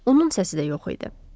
Onun səsi də yox idi.